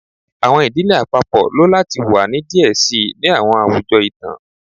Awọn idile apapọ lo lati wa ni diẹ sii ni awọn awujọ itan